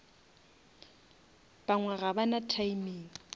bangwe ga ba na timing